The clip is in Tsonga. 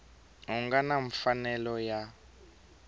a nga na mfanelo ya